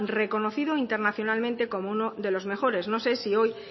reconocido internacionalmente como uno de los mejores no sé si hoy